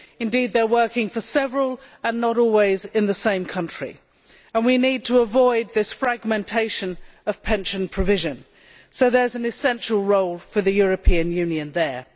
Indeed, they are working for several, and not always in the same country. And we need to avoid this fragmentation of pension provision, so there is an essential role for the European Union there.